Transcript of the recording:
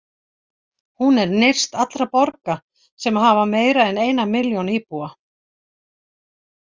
Hún er nyrst allra borga sem hafa meira en eina milljón íbúa.